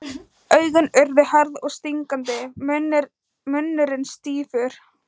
Augun urðu hörð og stingandi, munnurinn stífur.